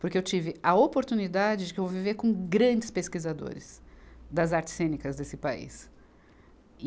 porque eu tive a oportunidade de que eu vou viver com grandes pesquisadores das artes cênicas desse país.